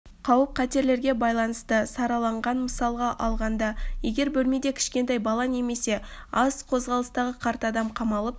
қауіп-қатерлерге байланысты сараланған мысалға алғанда егер бөлмеде кішкентай бала немесе аз қозғалысты қарт адам қамалып